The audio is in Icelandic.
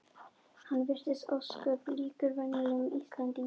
Hann virtist ósköp líkur venjulegum Íslendingi.